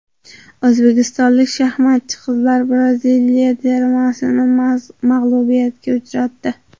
O‘zbekistonlik shaxmatchi qizlar Braziliya termasini mag‘lubiyatga uchratdi.